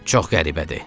Çox qəribədir.